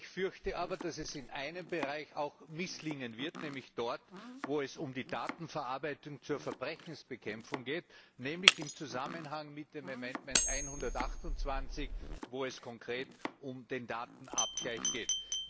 Ich fürchte aber, dass es in einem Bereich auch misslingen wird, nämlich dort, wo es um die Datenverarbeitung zur Verbrechensbekämpfung geht, nämlich im Zusammenhang mit Änderungsantrag128, wo es konkret um den Datenabgleich geht.